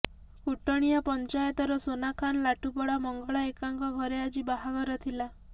କୁଟଣିଆ ପଞ୍ଚାୟତର ସୋନାଖାନ ଲାଠୁପଡ଼ାର ମଙ୍ଗଳ ଏକ୍କାଙ୍କ ଘରେ ଆଜି ବାହାଘର ଥିଲା